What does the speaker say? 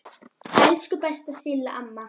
Elsku besta Silla amma.